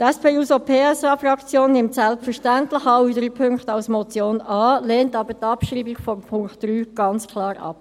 Die SP-JUSO-PSA-Fraktion nimmt selbstverständlich alle drei Punkte als Motion an, lehnt aber die Abschreibung des Punkts 3 ganz klar ab.